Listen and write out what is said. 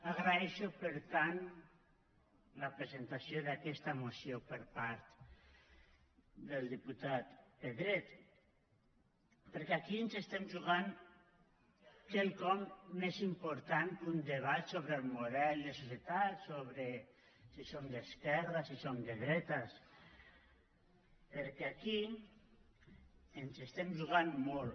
agraeixo per tant la presentació d’aquesta moció per part del diputat pedret perquè aquí ens hi juguem quelcom més important que un debat sobre el model de societat sobre si som d’esquerres si som de dretes perquè aquí ens hi juguem molt